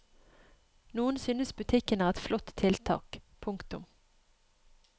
Noen synes butikken er et flott tiltak. punktum